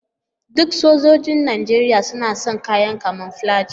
Duk sojoji Nijeriya suna sa kayan kamoflaji.